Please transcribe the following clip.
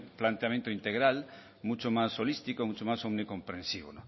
planteamiento integral mucho más holístico mucho más omnicomprensivo